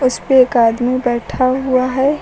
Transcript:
इसपे एक आदमी बैठा हुआ है।